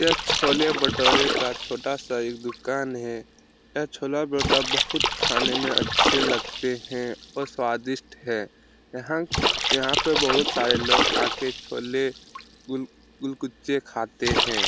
यह छोले भटूरे का छोटा सा एक दुकान है यह छोले भोटा बहुत खाने में काफी अच्छे लगते है और स्वादिष्ट है यहां पे बहुत सरे लोग चोले गुल कुच्चे खाते है।